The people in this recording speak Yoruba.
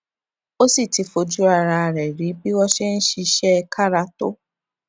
ó sì ti fojú ara rè rí bí wón ṣe ń ṣiṣé kára tó